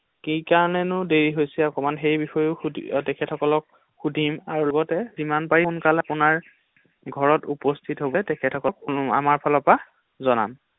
কি কাৰণেনো দেৰি হৈছে অকণমান সেইবিষয়েও সুধি তেখেতসকলক সুধিম আৰু লগতে যিমান পাৰি সোনকালে আপোনাৰ ঘৰত উপস্হিত হ’বলৈ তেখেতসকলক আমাৰ ফালৰ জনাম৷